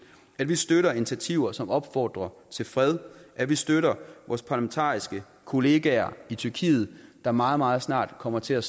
at vi støtter initiativer som opfordrer til fred at vi støtter vores parlamentariske kollegaer i tyrkiet der meget meget snart kommer til at